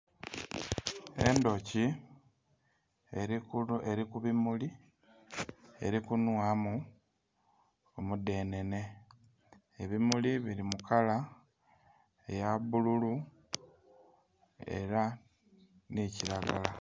Endhoki eri ku bimuli eri kunhwamu omu dhenene ebimuli bili mu kala eya bululu era nhi kilagala